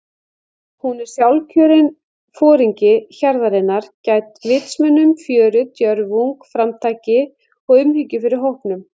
Hún er sjálfkjörinn foringi hjarðarinnar- gædd vitsmunum, fjöri, djörfung, framtaki og umhyggju fyrir hópnum.